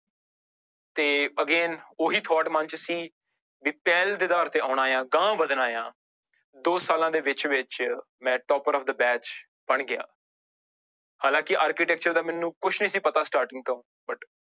ਤੇ again ਉਹੀ thought ਮਨ ਵਿੱਚ ਸੀ ਵੀ ਪਹਿਲ ਦੇ ਆਧਾਰ ਤੇ ਆਉਣਾ ਆਂ ਅਗਾਂਹ ਵੱਧਣਾ ਆਂ, ਦੋ ਸਾਲਾਂ ਦੇ ਵਿੱਚ ਵਿੱਚ ਮੈਂ topper of the batch ਬਣ ਗਿਆ ਹਾਲਾਂਕਿ architecture ਦਾ ਮੈਨੂੰ ਕੁਛ ਨੀ ਸੀ ਪਤਾ starting ਤੋਂ but